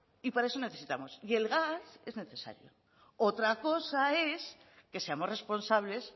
y para eso necesitamos y el gas es necesario otra cosa es que seamos responsables